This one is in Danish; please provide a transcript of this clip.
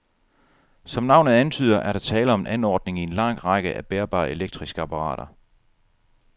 Som navnet antyder, er der tale om en anordning i en lang række af bærbare elektriske apparater.